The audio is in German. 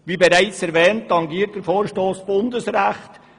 Wie bereits erwähnt tangiert der Vorstoss Bundesrecht.